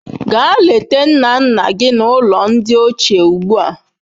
Gaa leta nna nna gị n'ụlọ ndị ochie ugbu a.